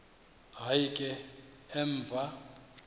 hayi ke emva